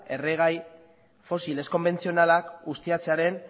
erregai fosil ez konbentzionalak ustiatzearen